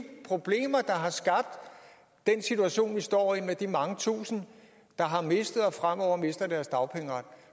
problemer der har skabt den situation vi står i med de mange tusinde der har mistet og fremover mister deres dagpengeret